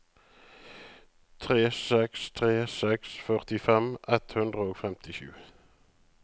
tre seks tre seks førtifem ett hundre og femtisju